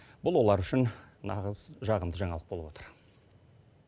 бұл олар үшін нағыз жағымды жаңалық болып отыр